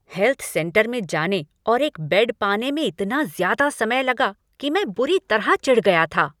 Health centre में जाने और एक बेड पाने में इतना ज़्यादा समय लगा कि मैं बुरी तरह चिढ़ गया था।